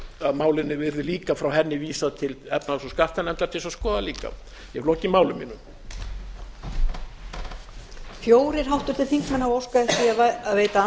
að málinu yrði líka frá henni vísað til efnahags og skattanefndar til þess að skoða líka ég hef lokið máli mínu